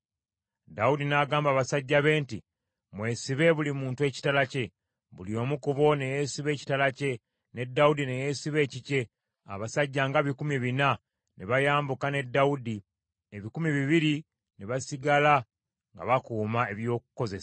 Dawudi n’agamba abasajja be nti, “Mwesibe buli muntu ekitala kye!” Buli omu ku bo ne yeesiba ekitala kye, ne Dawudi ne yeesiba ekikye, abasajja nga bikumi bina ne bayambuka ne Dawudi, ebikumi bibiri ne basigala nga bakuuma eby’okukozesa.